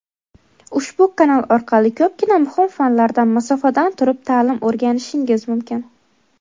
ushbu kanal orqali ko‘pgina muhim fanlardan masofadan turib ta’lim o‘rganishingiz mumkin.